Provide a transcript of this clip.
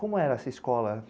Como era essa escola?